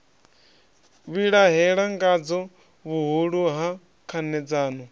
vhilahela ngadzo vhuhulu ha khanedzano